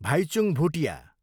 Bhaichung Bhutia